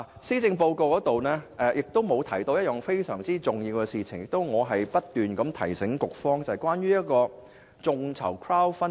施政報告沒有提及一項十分重要的事項，那就是我不斷提醒局方處理的眾籌政策。